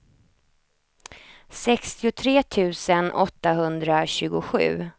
sextiotre tusen åttahundratjugosju